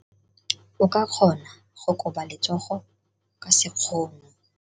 O ka kgona go koba letsogo ka sekgono.